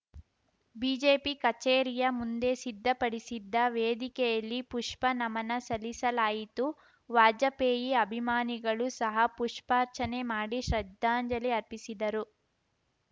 BJP ಕಚೇರಿಯ ಮುಂದೆ ಸಿದ್ಧಪಡಿಸಿದ್ದ ವೇದಿಕೆಯಲ್ಲಿ ಪುಷ್ಪ ನಮನ ಸಲ್ಲಿಸಲಾಯಿತು ವಾಜಪೇಯಿ ಅಭಿಮಾನಿಗಳು ಸಹ ಪುಷ್ಪಾರ್ಚನೆ ಮಾಡಿ ಶ್ರದ್ಧಾಂಜಲಿ ಅರ್ಪಿಸಿದರು